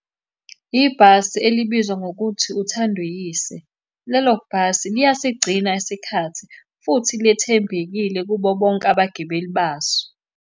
Ibhasi elibizwa ngokuthi uThanduyise. Lelo bhasi liyasigcina isikhathi, futhi lethembekile kubo bonke abagibeli baso.